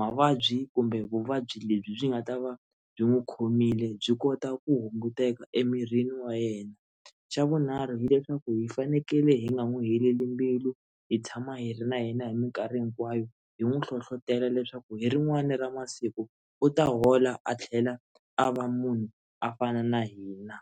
mavabyi kumbe vuvabyi lebyi byi nga ta va byi n'wi khomile byi kota ku hunguteka emirini wa yena, xa vunharhu hileswaku hi fanekele hi nga n'wi heleli mbilu hi tshama hi ri na yena hi mikarhi hinkwayo hi n'wi hlohlotelo leswaku hi rin'wana ra masiku u ta hola a tlhela a va munhu a fana na hina.